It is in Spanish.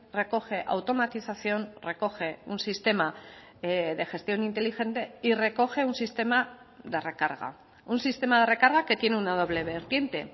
recoge automatización recoge un sistema de gestión inteligente y recoge un sistema de recarga un sistema de recarga que tiene una doble vertiente